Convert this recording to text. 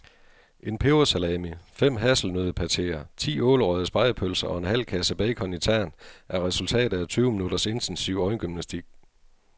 En pebersalami, fem hasselnøddepateer, ti ålerøgede spegepølser og en halv kasse bacon i tern er resultatet af tyve minutters intensiv øjengymnastik.